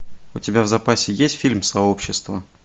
у тебя в запасе есть фильм сообщество